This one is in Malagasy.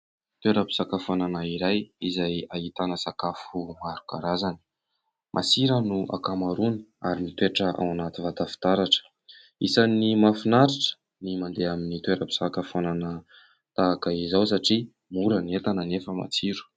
Toeram-pisakafoanana iray, izay ahitana sakafo maro karazany. Masira ny ankamaroany, ary mitoetra ao anaty vata fitaratra. Isany mahafinaritra ny mandeha amin'ny toeram-pisakafoanana tahaka izao, satria mora ny entana, nefa matsiro.